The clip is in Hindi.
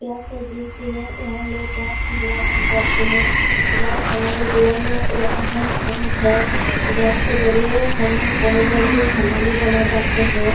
गैस एजेंसी है। यहाँ लोग गैस भरवाने जाते हैं। गैस हमारे जीवन में एक अहम् अंग है। गैस के जरिये हम बहुत जल्दी खाना भी बना पाते हैं।